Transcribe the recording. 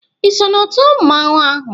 ị so na otu mmanwụ ahụ?